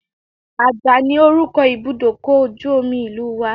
Ajah ni orúkọ Ibùdókọ̀ ojú omi ìlú wa.